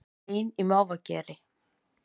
Ein í mávageri